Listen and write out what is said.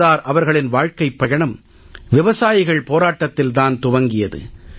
சர்தார் அவர்களின் வாழ்க்கைப் பயணம் விவசாயிகள் போராட்டத்தில் தான் துவங்கியது